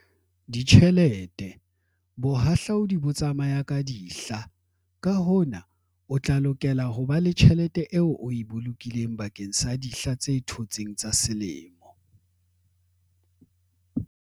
Ditjhelete - Bohahlaudi bo tsamaya ka dihla, ka hona o tla lokela ho ba le tjhelete eo o e bolokileng bakeng sa dihla tse thotseng tsa selemo.